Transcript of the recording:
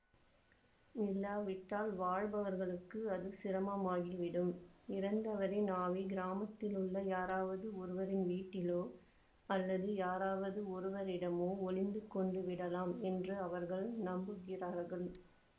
இல்லாவிட்டால் வாழ்பவர்களுக்கு அது சிரமமாகிவிடும் இறந்தவரின் ஆவி கிராமத்திலுள்ள யாராவது ஒருவரின் வீட்டிலோ அல்லாது யாராவது ஒருவரிடமோ ஒழிந்து கொண்டு விடலாம் என்று அவர்கள் நம்புகிறார்கள்